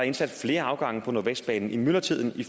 indsat flere afgange på nordvestbanen i myldretiden